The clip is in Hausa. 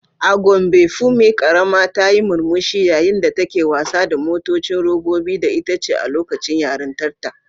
A Gombe Funmi karama ta yi murmushi yayin da take wasa da motocin robobi da itace a lokacin yarintarta.